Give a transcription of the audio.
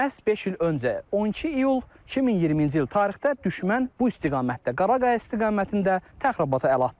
Məhz beş il öncə, 12 iyul 2020-ci il tarixdə düşmən bu istiqamətdə, Qaraqaya istiqamətində təxribata əl atdı.